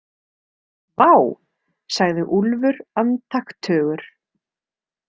Vá, sagði Úlfur andaktugur.